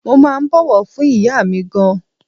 Mo máa ń bọ̀wọ̀ fún ìyá mi gan-an.